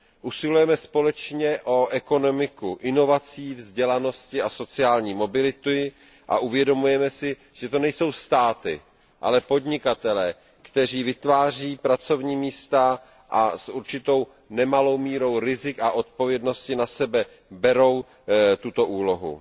Usilujeme společně o ekonomiku inovací, vzdělanosti a sociální mobility a uvědomujeme si, že to nejsou státy, ale podnikatelé, kteří vytváří pracovní místa a s určitou nemalou mírou rizik a odpovědnosti na sebe berou tuto úlohu.